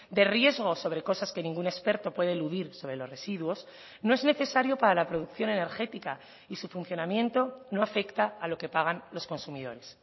de riesgo sobre cosas que ningún experto puede eludir sobre los residuos no es necesario para la producción energética y su funcionamiento no afecta a lo que pagan los consumidores